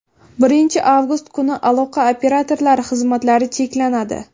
Birinchi avgust kuni aloqa operatorlari xizmatlari cheklanadi.